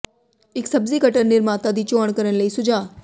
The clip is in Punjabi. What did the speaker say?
ਇੱਕ ਸਬਜ਼ੀ ਕਟਰ ਨਿਰਮਾਤਾ ਦੀ ਚੋਣ ਕਰਨ ਲਈ ਸੁਝਾਅ